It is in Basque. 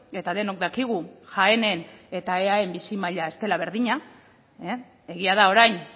eta denok dakigu jaenen eta eaen bizi maila ez dela berdina egia da orain